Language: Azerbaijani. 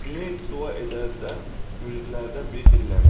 Cüneyd dua edərkən müridlərdən biri dillənib.